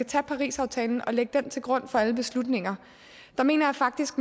tage parisaftalen og lægge den til grund for alle beslutninger så mener jeg faktisk